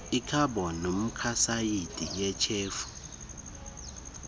ikhabhoni monokhsayidi yityhefu